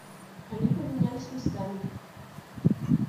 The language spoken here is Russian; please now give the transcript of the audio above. они поменялись местами